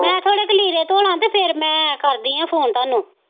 ਮੈਂ ਥੋੜ੍ਹੇ ਕਿ ਲੀੜੇ ਧੋ ਲਾਂ ਅਤੇ ਫੇਰ ਮੈਂ ਕਰਦੀ ਹਾਂ ਫੋਨ ਤੁਹਾਨੂੰ